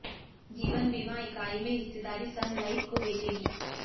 जीवन बीमा इकाई में हिस्सेदारी सन लाइफ को बेचेगी